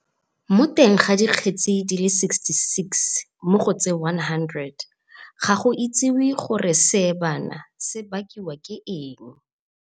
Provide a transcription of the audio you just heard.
Mo teng ga dikgetse di le 66 mo go tse 100, ga go itsiwe gore seebana se bakiwa ke eng.